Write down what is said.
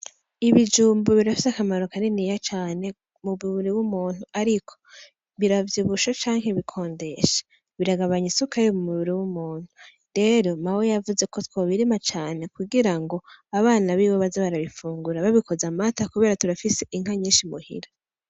Ibijumbu birafise akamaro mumubiri w'umuntu ariko biravyibusha canke bikondesha biragabanya isukari mumubiri w'umuntu rero mawe yavuze kwo twobirima cane kugira ngo abana biwe baze barabifungura babikoza amata kubera turafise Inka nyishi muhira.